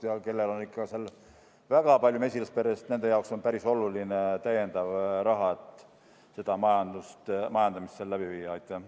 Ja kellel on väga palju mesilasperesid, nende jaoks on see päris oluline täiendav raha, et seda majandamist läbi viia.